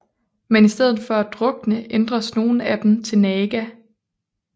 Men i stedet for at drukne ændres nogle af dem til Naga